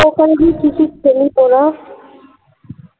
তো ওখানে গিয়ে কি কি খেলি তোরা?